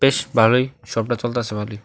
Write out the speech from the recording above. বেশ ভালই শপ -টা চলতাসে ভালই।